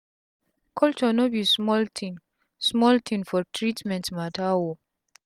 culture no be small tin small tin for treatment mata o